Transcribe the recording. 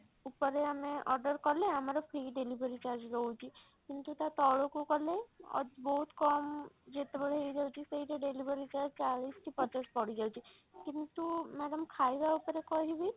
ଉପରେ ଆମେ order କଲେ ଆମର free delivery charge ରହୁଛି କିନ୍ତୁ ତା ତଳକୁ କଲେ ଅ ବହୁତ କମ ଯେତେବେଳେ ହେଇଯାଉଛି ସେଇଟା delivery charge ଚାଳିଶ କି ପଚାଶ ପଡିଯାଉଛି କିନ୍ତୁ madam ଖାଇବା ଉପରେ କହିବି